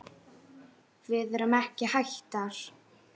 Við erum ekki hættar.